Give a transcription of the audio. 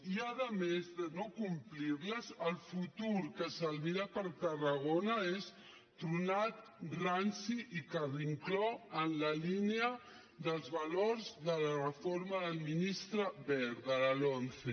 i a més de no complir les el futur que s’albira per tarragona és tronat ranci i carrincló en la línia dels valors de la reforma del ministre wert de la lomce